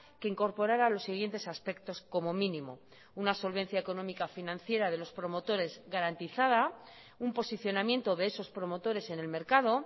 que incorporara los siguientes aspectos como mínimo una solvencia económica financiera de los promotores garantizada un posicionamiento de esos promotores en el mercado